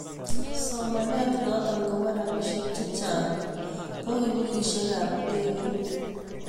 somanet noto koba robishek chechang ku kipulishekab ndegeit